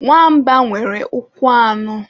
Nwa mba nwere ụkwụ anọ